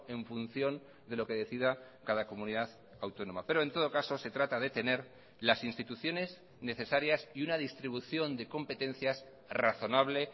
en función de lo que decida cada comunidad autónoma pero en todo caso se trata de tener las instituciones necesarias y una distribución de competencias razonable